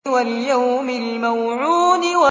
وَالْيَوْمِ الْمَوْعُودِ